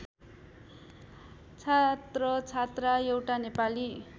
छात्रछात्रा एउटा नेपाली